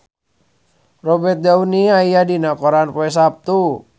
Robert Downey aya dina koran poe Saptu